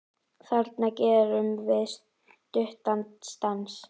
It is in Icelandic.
En þarna gerðum við stuttan stans